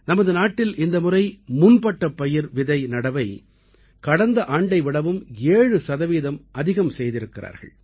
நமது நாட்டில் இந்த முறை முன்பட்டப் பயிர் விதை நடவை கடந்த ஆண்டை விடவும் 7 சதவீதம் அதிகம் செய்திருக்கிறார்கள்